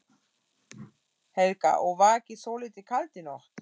Helga: Og var ekki svolítið kalt í nótt?